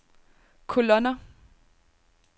kolonner